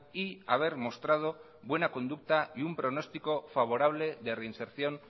y haber mostrado buena conducta y un pronostico favorable de reinserción